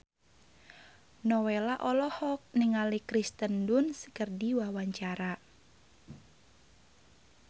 Nowela olohok ningali Kirsten Dunst keur diwawancara